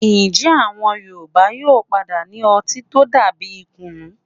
Ǹjẹ́ àwọn Yorùbá yóò padà ní ọtí tó dà bíi kùnú?